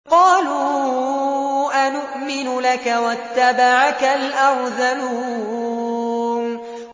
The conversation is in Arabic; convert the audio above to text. ۞ قَالُوا أَنُؤْمِنُ لَكَ وَاتَّبَعَكَ الْأَرْذَلُونَ